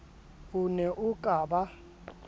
o ne o ka ba